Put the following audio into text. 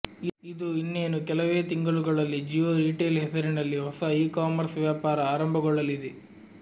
ಇದು ಇನ್ನೇನು ಕೆಲವೇ ತಿಂಗಳುಗಳಲ್ಲಿ ಜಿಯೋ ರೀಟೇಲ್ ಹೆಸರಿನಲ್ಲಿ ಹೊಸ ಇ ಕಾಮರ್ಸ್ ವ್ಯಾಪಾರ ಆರಂಭಗೊಳ್ಳಲಿದೆ